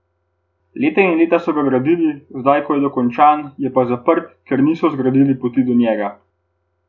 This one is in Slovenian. Leta in leta so ga gradili, zdaj ko je dokončan, je pa zaprt, ker niso zgradili poti do njega!